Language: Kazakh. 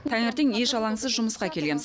таңертең еш алаңсыз жұмысқа келеміз